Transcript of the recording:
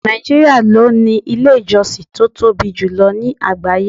Nàìjíríà ló ní ilé ìjọsìn tó tóbi jù lọ ní àgbáyé.